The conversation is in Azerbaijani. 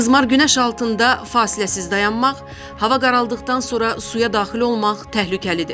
Qızmar günəş altında fasiləsiz dayanmaq, hava qaraldıqdan sonra suya daxil olmaq təhlükəlidir.